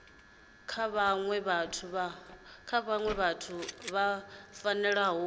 kha vhaṅwe vhathu vhu fanela